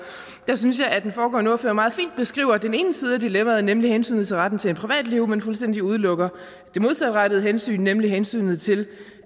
jeg synes at den foregående ordfører meget fint beskrev den ene side af dilemmaet nemlig hensynet til retten til privatliv men fuldstændig udelukker det modsatrettede hensyn nemlig hensynet til